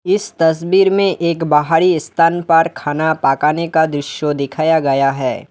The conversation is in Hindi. इस तस्वीर में एक बाहरी स्थान पर खाना पकाने का दृश्य दिखाया गया है।